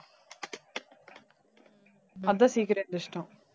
அதான் சீக்கிரம் எந்திரிச்சிட்டான்